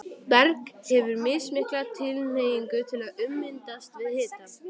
Berg hefur mismikla tilhneigingu til að ummyndast við hita.